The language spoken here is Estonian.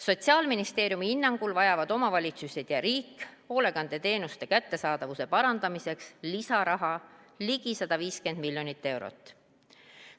Sotsiaalministeeriumi hinnangul vajavad omavalitsused ja riik hoolekandeteenuste kättesaadavuse parandamiseks ligi 150 miljonit eurot lisaraha.